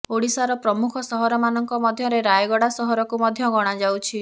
ଓଡିଶାର ପ୍ରମୁଖ ସହର ମାନଙ୍କ ମଧ୍ୟରେ ରାୟଗଡା ସହରକୁ ମଧ୍ୟ ଗଣାଯାଉଛି